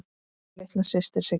Þín litla systir Sigga.